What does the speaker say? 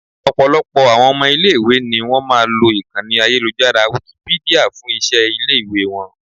Ọ̀pọ̀lọpọ̀ àwọn ọmọ ilẹ̀ ìwé ni wón máa lo ìkànnì ayélujára Wikipedia fún iṣẹ́ ilé ìwé wọn.